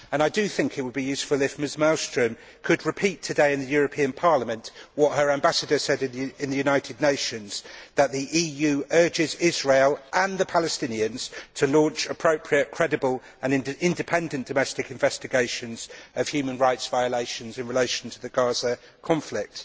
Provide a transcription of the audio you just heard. I do think it would be useful if Mrs Malmström could repeat today in the European Parliament what her Ambassador said in the United Nations that the EU urges Israel and the Palestinians to launch appropriate, credible and independent domestic investigations of human rights violations in relation to the Gaza conflict.